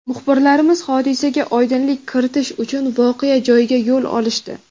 Muxbirlarimiz hodisaga oydinlik kiritish uchun voqea joyiga yo‘l olishdi.